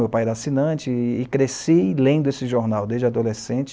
Meu pai era assinante e cresci lendo esse jornal desde adolescente.